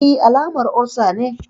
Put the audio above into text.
E, alamar olsa ne.